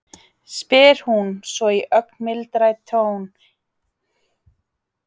spyr hún svo í ögn mildari tóni en áður.